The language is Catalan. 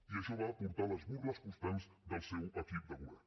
i això va portar les burles constants del seu equip de govern